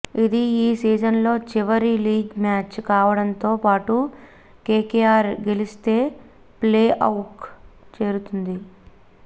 ఇది ఈ సీజన్లో చివరి లీగ్ మ్యాచ్ కావడంతో పాటు కేకేఆర్ గెలిస్తే ప్లేఆఫ్కు చేరుతుంది